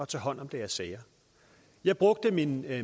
tage hånd om deres sager jeg brugte min